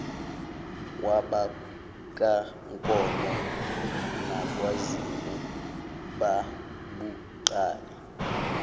kwabakankomo nakwazimu babuqale